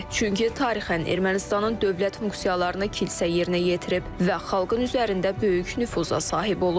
Çünki tarixən Ermənistanın dövlət funksiyalarını kilsə yerinə yetirib və xalqın üzərində böyük nüfuza sahib olub.